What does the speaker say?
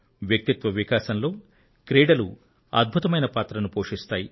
వ్యక్తిత్వ వికాసంలో క్రీడలు అద్భుతమైన పాత్రను పోషిస్తాయి